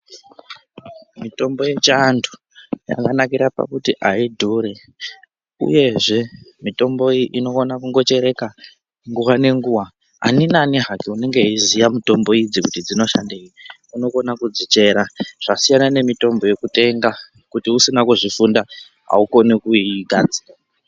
Mitombo yechiantu yakanakira pakuti ayi dhuri, uyezve mitombo iyi inokona kungo chereka nguwa nenguwa. Ani nani hake unenge weiziya mitombo idzi kuti dzinoshandeyi, unokone kudzichera. Zvasiyana nemitombo yekutenga. Kana usina kuzvifunda, awukoni kuigadzira.